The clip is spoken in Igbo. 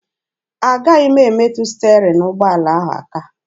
Agaghị m emetụ sterin ụgbọala ahụ aka.